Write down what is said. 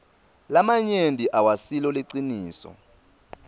lamanyenti awasilo liciniso